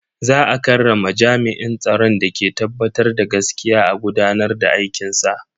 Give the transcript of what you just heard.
Za a karrama jami'in tsaron da ke tabbatar da gaskiya a gudanar da aikinsa.